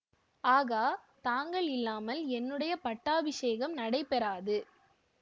ஆகா தாங்கள் இல்லாமல் என்னுடைய பட்டாபிஷேகம் நடைபெறாது